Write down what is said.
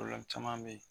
caman bɛ yen